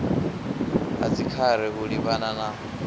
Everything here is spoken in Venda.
ha dzikhare u livhana na